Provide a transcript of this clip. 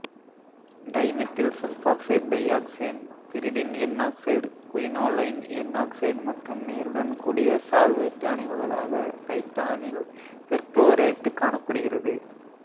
dimethyl sulphoxide dioxane pyridine N oxide quinoline N oxide மற்றும் நீருடன் கூடிய சால்வேட்டு அணைவுகளாகத் தைட்டானைல் பெர்குளோரேட்டு காணப்படுகிறது